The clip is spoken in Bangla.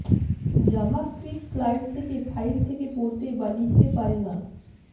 জাভাস্ক্রিপ্ট ক্লায়েন্ট থেকে ফাইল থেকে পড়তে বা লিখতে পারে না